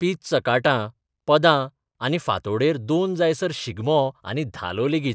पीत चकाटां, पदां आनी फांतोडेर दोन जायसर शिगमो आनी धालो लेगीत...